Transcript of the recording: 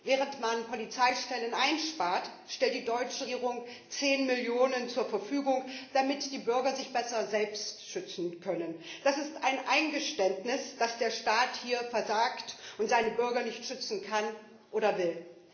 Während man Polizeistellen einspart, stellt die deutsche Regierung 10 Millionen Euro zur Verfügung, damit die Bürger sich besser selbst schützen können. Das ist ein Eingeständnis, dass der Staat hier versagt und seine Bürger nicht schützen kann oder will.